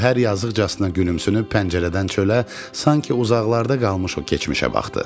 Gövhər yazıqcasına gülümsünüb pəncərədən çölə, sanki uzaqlarda qalmış o keçmişə baxdı.